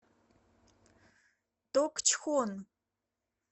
токчхон